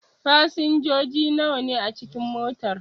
Fasinjoji nawa ne a cikin motar?